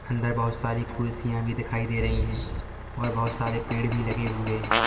अंदर बहोत सारी कुर्सियां भी दिखाई दे रही हैं और बहोत सारे पेड़ भी लगे हुए हैं।